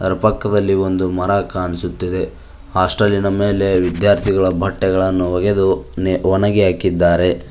ಪಕ್ಕದಲ್ಲಿ ಒಂದು ಮರ ಕಾಣಿಸುತ್ತಿದೆ ಹಾಸ್ಟೆಲಿನ ಮೇಲೆ ವಿದ್ಯಾರ್ಥಿಗಳ ಬಟ್ಟೆಗಳನ್ನು ಒಗೆದು ಒಣಗಿ ಹಾಕಿದ್ದಾರೆ.